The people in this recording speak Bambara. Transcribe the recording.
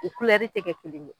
U tɛ kɛ kelen ye.